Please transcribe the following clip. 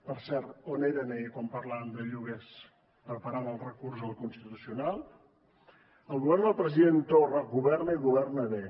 per cert on eren ahir quan parlàvem de lloguers preparant el recurs al constitucional el govern del president torra governa i governa bé